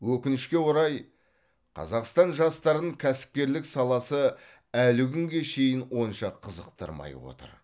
өкінішке орай қазақстан жастарын кәсіпкерлік саласы әлі күнге шейін онша қызықтырмай отыр